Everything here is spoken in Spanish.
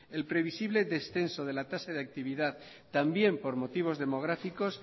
el previsible descenso de la tasa de actividad también por motivos demográficos